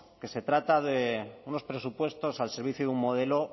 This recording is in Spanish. que se trata de unos presupuestos al servicio de un modelo